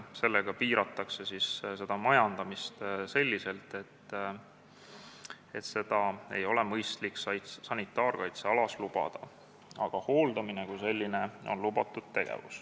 Sellega piiratakse majandamist selliselt, et lageraiet ei ole mõistlik sanitaarkaitsealas lubada, aga hooldamine kui selline on lubatud.